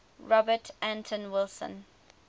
robert anton wilson